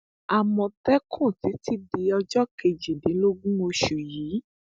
àmọtẹkùn títí di ọjọ kejìdínlógún oṣù yìí